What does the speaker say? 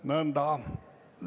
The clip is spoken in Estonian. Nõnda.